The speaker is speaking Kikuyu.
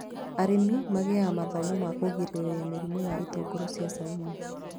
Arĩmi magĩaga mathomo ma kũgirĩrĩria mĩrimũ ya itũngũrũ cia caumu